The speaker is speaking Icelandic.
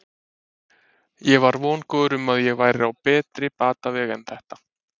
Ég var vongóður um að ég væri á betri batavegi en þetta.